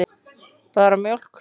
Bara mjólk.